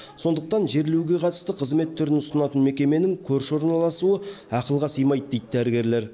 сондықтан жерлеуге қатысты қызмет түрін ұсынатын мекеменің көрші орналасуы ақылға сыймайды дейді дәрігерлер